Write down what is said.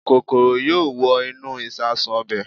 Kòkòrò yóò wọ inú ìṣasùn ọbẹ̀